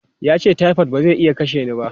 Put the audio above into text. Ya ce, "typhoid ba zai iya kashe ni ba!".